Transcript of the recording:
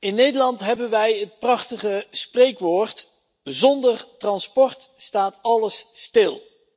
In Nederland hebben wij het prachtige spreekwoord zonder transport staat alles stil.